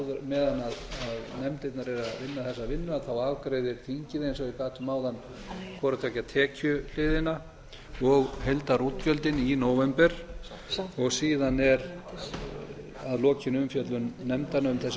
meðan nefndirnar eru að vinna þessa vinnu afgreiðir þingið eins og ég gat um áðan hvorutveggja tekjuhliðina og heildarútgjöldin í nóvember og síðan að lokinni umfjöllun nefndanna um þessi